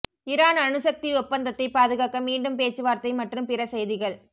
Iran அணுசக்தி ஒப்பந்தத்தை பாதுகாக்க மீண்டும் பேச்சுவார்த்தை மற்றும் பிற செய்திகள்